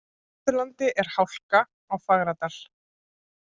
Á Austurlandi er hálka á Fagradal